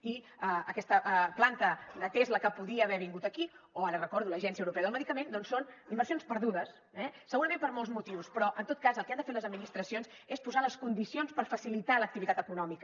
i aquesta planta de tesla que podia haver vingut aquí o ara ho recordo l’agència europea del medicament doncs són inversions perdudes eh segurament per molts motius però en tot cas el que han de fer les administracions és posar les condicions per facilitar l’activitat econòmica